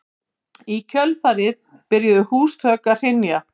Í kjölfarið byrjuðu húsþök að hrynja